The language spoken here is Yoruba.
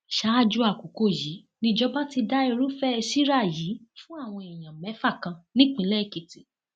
ṣáájú àkókò yìí nìjọba ti da irúfẹ síra yìí fún àwọn èèyàn mẹfà kan nípìnlẹ èkìtì